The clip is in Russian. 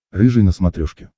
рыжий на смотрешке